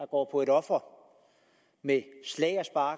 går på et offer med slag og